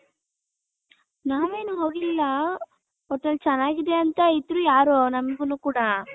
ನಾವ್ ಏನು ಹೋಗಿಲ್ಲ .ಒಟ್ನಲ್ಲಿ ಚೆನ್ನಾಗಿದೆ ಅಂತ ಇದ್ರೂ ಯಾರೊ ನಮ್ಗುನು ಕೂಡ .